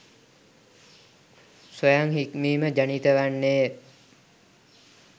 ස්වයං හික්මීම ජනිත වන්නේය.